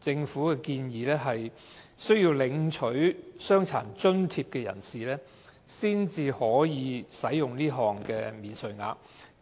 政府現時的建議，只有領取傷殘津貼的人士才可享有這項免稅額。